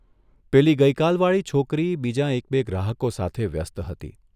પેલી ગઇકાલવાળી છોકરી બીજાં એક બે ગ્રાહકો સાથે વ્યસ્ત હતી.